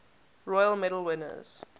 royal medal winners